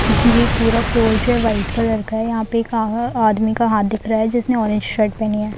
ये पूरा फ्लोर जो है वाइट कलर का है। यहाँ पर एक आ आदमी का हाथ दिख रहा है जिसने ऑरेंज शर्ट पहनी है।